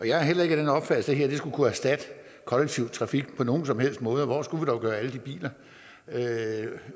jeg er heller ikke af den opfattelse her vil kunne erstatte kollektiv trafik på nogen som helst måde hvor skulle vi dog gøre af alle de biler